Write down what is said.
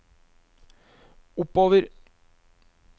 oppover